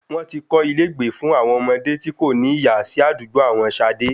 Wọ́n ti kọ́ ilé ìgbé fún àwọn ọmọdé tí kò ní ìyá sí àdúgbò àwọn Ṣadé